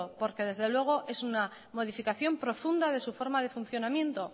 porque desde luego es una modificación profunda de su forma de funcionamiento